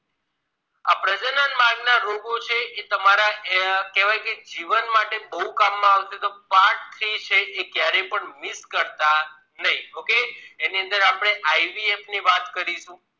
પ્રજનન ના રોગો છે એ તમારા જીવન માટે બહુ કામ માં આવશે તો part three એ કયારે પણ miss કરતા નહી okay એની અંદર IVF